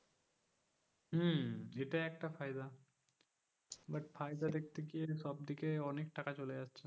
হুম এটা একটা ফায়দা but ফায়দা দেখতে সবদিকে অনেক টাকা চলে যাচ্ছে,